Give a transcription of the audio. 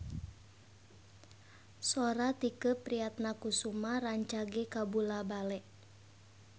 Sora Tike Priatnakusuma rancage kabula-bale